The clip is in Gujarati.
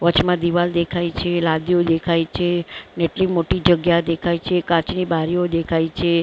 વચમાં દિવાલ દેખાય છે લાદીઓ દેખાય છે એટલી મોટી જગ્યા દેખાય છે કાચની બારીઓ દેખાય છે.